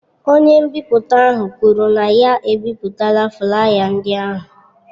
Onye nbipute ahụ kwuru na ya ebipụtala flaya ndị ahụ.